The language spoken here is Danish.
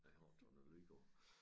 Ja jeg har ikke taget noget lyd på